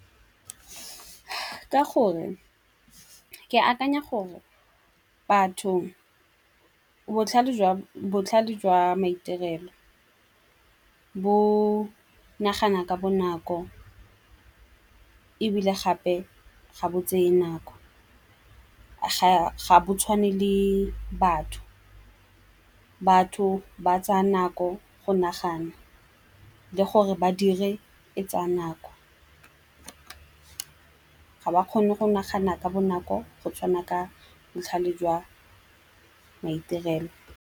Ka gore ke akanya gore batho botlhale jwa maitirelo bo nagana ka bonako ebile gape ga bo tseye nako ga bo tshwane le batho. Batho ba tsaya nako go nagana le gore badiri e tsaya nako. Ga ba kgone go nagana ka bonako go tshwana ka botlhale jwa maitirelo.